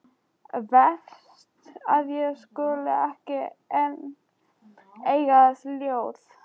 Verst að ég skuli ekki enn eiga þessi ljóð.